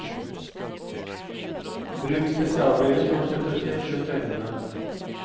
Bruk spesialbriller som slutter tett rundt øynene.